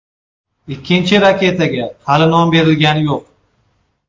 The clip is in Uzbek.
Ikkinchi raketaga hali nom berilgani yo‘q.